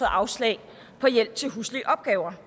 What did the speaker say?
afslag på hjælp til huslige opgaver